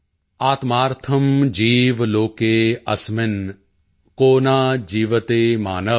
ਆਤਮਾਰਥਮ੍ ਜੀਵ ਲੋਕੇ ਅਸਮਿਨ੍ ਕੋ ਨ ਜੀਵਤਿ ਮਾਨਵ